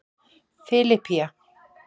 Filippía